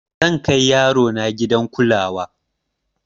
zan Kai yarona gidan kulawa